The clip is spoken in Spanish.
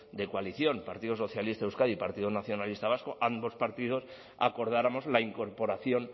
de coalición partido socialista de euskadi y partido nacionalista vasco ambos partidos acordáramos la incorporación